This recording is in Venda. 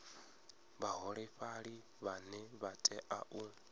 vhaholefhali vhane vha tea u